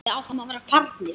Við áttum að vera farnir.